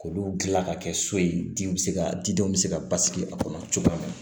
K'olu dilan ka kɛ so ye di bɛ se ka di denw bɛ se ka basigi a kɔnɔ cogo min